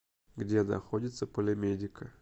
где находится полимедика